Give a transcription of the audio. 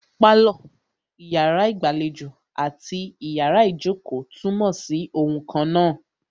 Pálọ̀, iyàrá ìgbàlejò àti iyàrá ìjókò túnmọ̀ sí oun kannáà.